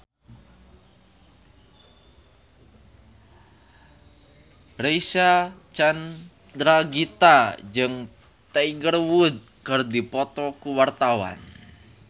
Reysa Chandragitta jeung Tiger Wood keur dipoto ku wartawan